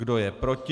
Kdo je proti?